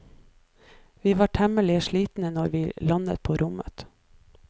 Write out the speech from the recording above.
Vi var temmelig slitne når vi landet på rommet.